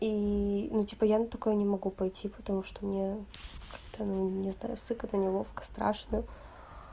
и ну типа я на такое не могу пойти потому что мне как-то не знаю сцыкатно неловко страшно